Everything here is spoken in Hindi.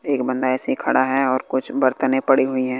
एक बंदा ऐसी खड़ा है और कुछ बरतने पड़ी हुई है।